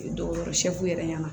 Dɔgɔtɔrɔ yɛrɛ ma